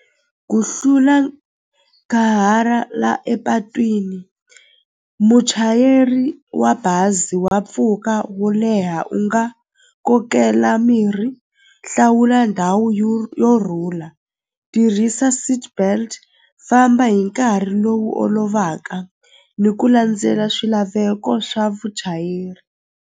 Ku hlula la epatwini muchayeri wa bazi wa pfuka wo leha u nga kokela mirhi hlawula ndhawu yo rhula tirhisa seatbelt famba hi nkarhi lowu olovaka ni ku landzela swilaveko swa vuchayeri.